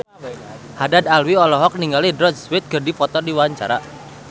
Haddad Alwi olohok ningali Rod Stewart keur diwawancara